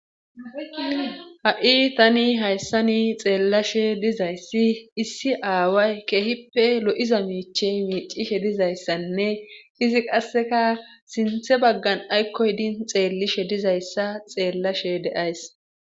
Ha'i tani hayssani xeellashe dizayssi issi aaway keehippe lo'iza miiche miicishe dizayssanne izi qasseka sinthe baggan aykkoydin xeellishe dizayssa xeellashe deays.